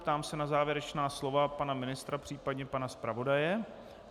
Ptám se na závěrečná slova pana ministra, případně pana zpravodaje.